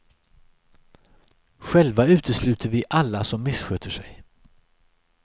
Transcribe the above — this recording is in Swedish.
Själva utesluter vi alla som missköter sig.